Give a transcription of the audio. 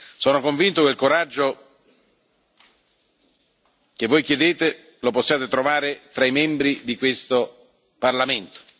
Sono convinto che il coraggio che voi chiedete lo possiate trovare tra i membri di questo Parlamento.